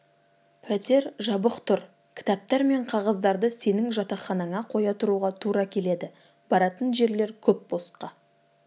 пәтер жабық тұр кітаптар мен қағаздарды сенің жатақханаңа қоя тұруға тура келеді баратын жерлер көп босқа